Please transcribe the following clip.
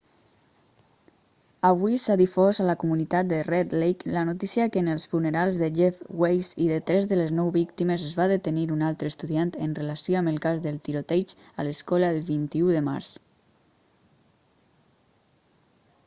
avui s'ha difós a la comunitat de red lake la notícia que en els funerals de jeff weise i de tres de les nou víctimes es va detenir un altre estudiant en relació amb el cas del tiroteig a l'escola el 21 de març